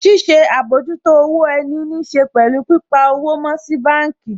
Ṣíṣe àbójútó owó ẹni níṣe pẹ̀lú pípa owó mọ́ sí báànkì